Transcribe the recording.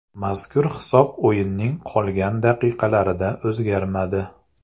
Mazkur hisob o‘yinning qolgan daqiqalarida o‘zgarmadi.